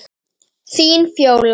Þín Fjóla.